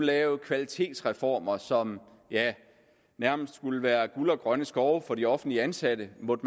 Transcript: lave kvalitetsreformer som nærmest skulle være guld og grønne skove for de offentligt ansatte måtte